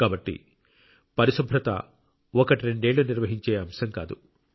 కాబట్టి పరిశుభ్రత ఒకట్రెండేళ్ళు నిర్వహించే అంశం కాదు